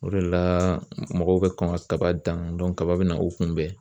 O de la mɔgɔw bɛ kɔn ka kaba dan kaba bɛna u kunbɛn.